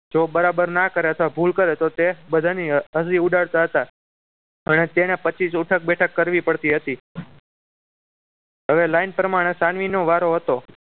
જો બરાબર ના કરે તો ભૂલ કરે તો તે બધાની હસી ઉડાડતા હતા અને તેને પચીશ ઉઠક બેઠક કરવી પડતી હતી હવે લાઈન પ્રમાણે સાનવી નો વારો હતો